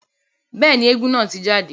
Bẹ́ẹ̀ni, éégún naa ti jade.